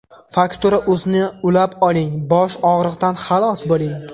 Faktura.uz’ni ulab oling – bosh og‘riqdan xalos bo‘ling.